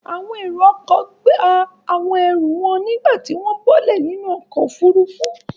Àwọn èrò-ọkọ̀ gba àwọn ẹrù wọn nígbà tí wọ́n bọ́lẹ̀ nínú ọkọ̀-òfurufú.